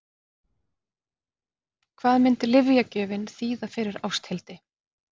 Hvað myndi lyfjagjöfin þýða fyrir Ásthildi?